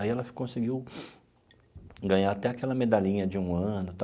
Aí ela conseguiu ganhar até aquela medalhinha de um ano.